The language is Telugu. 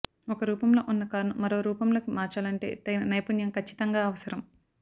ఒక రూపంలో ఉన్న కారును మరో రూపంలోకి మార్చాలంటే తగిన నైపుణ్యం ఖచ్చితంగా అవసరం